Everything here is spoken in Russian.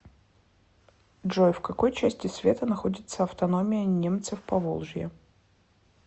джой в какой части света находится автономия немцев поволжья